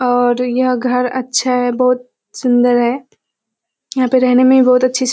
और यह घर अच्छा है बहुत सुन्दर है। यहाँ पर रहने में भी बहुत अच्छी सी --